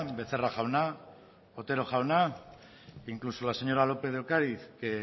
becerra jauna otero jauna incluso la señora lópez de ocariz que